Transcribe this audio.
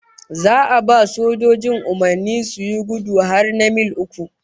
Za a ba sojojin umurnin suyi gudu har na mil uku